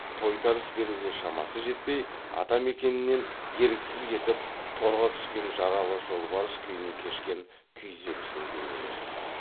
тойтарыс беруге шамасы жетпей атамекенінен еріксіз кетіп торға түскен жаралы жолбарыс күйін кешкен күйзелісін бейнелейді